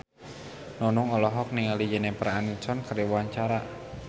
Nunung olohok ningali Jennifer Aniston keur diwawancara